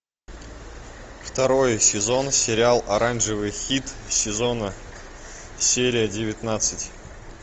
второй сезон сериал оранжевый хит сезона серия девятнадцать